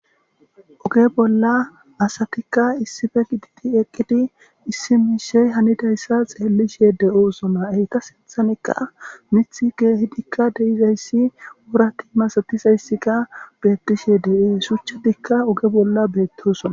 Oge bolla asatikka issife giditi eqqidi issi miishey hanidayssa xeellishe de7osoma eyta seethanikka mith geehidikka deizayssi wurati masatizayssika beettishe dee shuchchatikka oge bolla beettosona